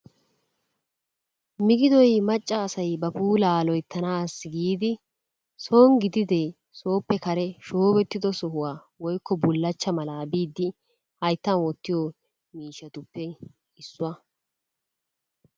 Migiddoy macca asay ba puullaa loyttanaassi giidi soni gididee sooppe kare shoobettido sohuwa woykko bulachcha malaa biidi hayttan wottiyo miishshatuppe issuwa.